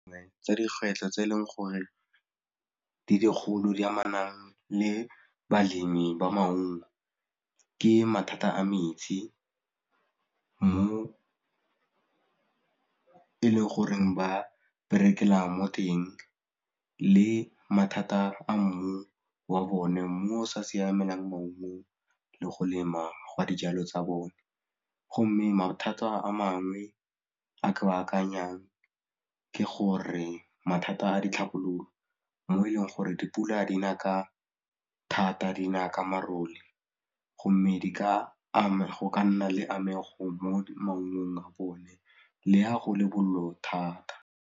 Dingwe tsa dikgwetlho tse e leng gore di dikgolo di amanang le balemi ba maungo ke mathata a metsi, mo e leng goreng ba berekela mo teng le mathata a mmu wa bone, mmu o o sa siamelang maungo le go lema ga dijalo tsa bone go mme mathata a mangwe a ke a akanyang ke gore mathata a ditlhabololo mo e leng gore dipula dina ka thata dina ka marole go mme go ka nna le amego mo maungong a bone le ha go le bollo thata.